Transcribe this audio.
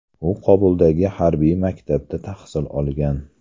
U Kobuldagi harbiy maktabda tahsil olgan.